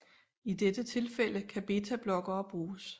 I dette tilfælde kan betablokkere bruges